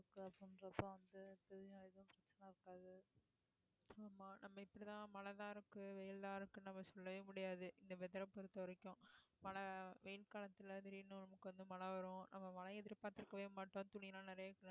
ஆமா நம்ம இப்படித்தான் மழைதான் இருக்கு, வெயில் தான் இருக்குன்னு நம்ம சொல்லவே முடியாது இந்த weather ஐ பொறுத்தவரைக்கும் மழை வெயில் காலத்துல திடீர்னு நமக்கு வந்து மழை வரும் நம்ம மழையை எதிர்பார்த்திருக்கவே மாட்டோம் துணி எல்லாம் நிறைய